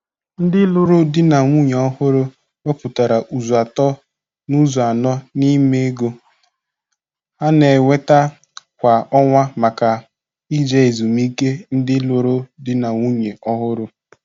Ndị lụrụ di na nwunye ọhụrụ wepụtara ụzọ atọ n'ụzọ anọ n'ime ego ha na-enweta kwa ọnwa maka ije ezumike ndị lụrụ di na nwunye ọhụrụ.